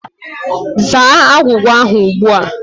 Zaa agwugwa ahụ ugbu a!